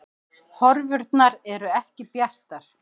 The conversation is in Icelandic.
Horfurnar eru ekki bjartar